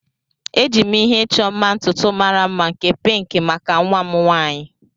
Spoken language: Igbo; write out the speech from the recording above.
Eji m ihe ịchọ mma ntutu mara mma nke pinki maka nwa m nwaanyị.